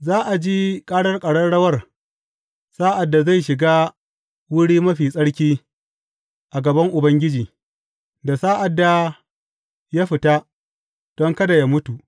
Za a ji ƙarar ƙararrawar sa’ad da zai shiga Wuri Mai Tsarki a gaban Ubangiji, da sa’ad da ya fita, don kada yă mutu.